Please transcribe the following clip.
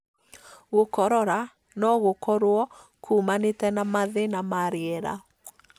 Gũkorora no gũkorwo kũmanĩte na mathĩna ma rĩera.